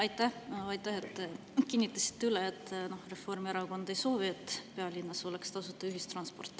Aitäh, et te kinnitasite üle, et Reformierakond ei soovi pealinnas tasuta ühistransporti.